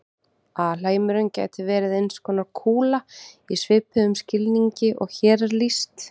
Alheimurinn gæti verið eins konar kúla í svipuðum skilningi og hér er lýst.